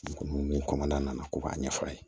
Min kɔnɔna na ko k'a ɲɛfɔ a ye